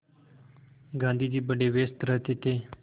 गाँधी जी बड़े व्यस्त रहते थे